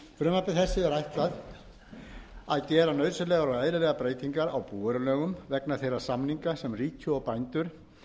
frumvarpi þessu er ætlað að gera nauðsynlegar og eðlilegar breytingar á búvörulögum vegna þeirra samninga sem ríki og bændur